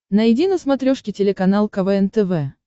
найди на смотрешке телеканал квн тв